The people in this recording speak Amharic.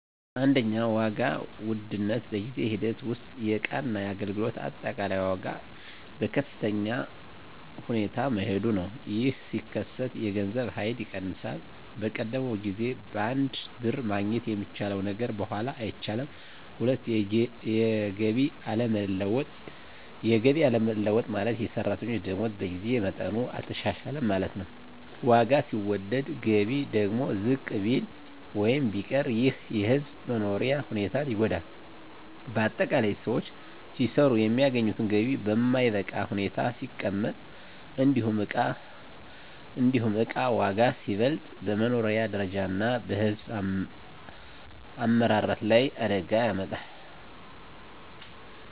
1. ዋጋ ውድነት በጊዜ ሂደት ውስጥ የእቃና አገልግሎት አጠቃላይ ዋጋ ከፍ መሄዱ ነው። ይህ ሲከሰት የገንዘብ ኃይል ይቀንሳል፤ በቀደመው ጊዜ በአንድ ብር ማግኘት የሚቻለው ነገር በኋላ አይቻልም። 2. የገቢ አለመለወጥ የገቢ አለመለወጥ ማለት፣ የሰራተኞች ደመወዝ በጊዜ መጠኑ አልተሻሻለም ማለት ነው። ዋጋ ሲወደድ ገቢ ደግሞ ዝቅ ቢል ወይም ቢቀር ይህ የሕዝብ መኖሪያ ሁኔታን ይጎዳል። ✅ በአጠቃላይ: ሰዎች ሲሰሩ የሚያገኙት ገቢ በማይበቃ ሁኔታ ሲቀመጥ፣ እንዲሁም እቃ ዋጋ ሲበልጥ፣ በመኖሪያ ደረጃ እና በሕዝብ አመራረት ላይ አደጋ ያመጣል።